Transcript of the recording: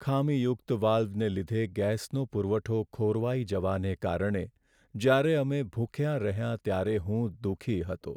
ખામીયુક્ત વાલ્વને લીધે ગેસનો પુરવઠો ખોરવાઈ જવાને કારણે જ્યારે અમે ભૂખ્યા રહ્યાં ત્યારે હું દુઃખી હતો.